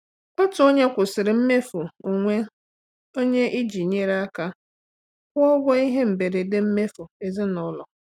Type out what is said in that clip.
Otu onye kwụsịrị mmefu onwe onye iji nyere aka kwụọ ụgwọ ihe mberede mmefu ezinụlọ.